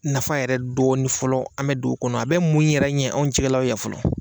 Nafa yɛrɛ dɔɔni fɔlɔ an mɛ dugu kɔnɔ a bɛ mun yɛrɛ ɲɛ anw cɛla yan fɔlɔ.